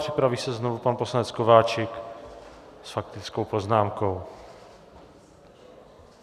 Připraví se znovu pan poslanec Kováčik s faktickou poznámkou.